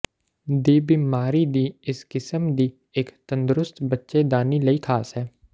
ਦੀ ਬਿਮਾਰੀ ਦੀ ਇਸ ਕਿਸਮ ਦੀ ਇੱਕ ਤੰਦਰੁਸਤ ਬੱਚੇਦਾਨੀ ਲਈ ਖਾਸ ਹੈ